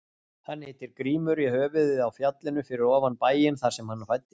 Hann heitir Grímur í höfuðið á fjallinu fyrir ofan bæinn þar sem hann fæddist.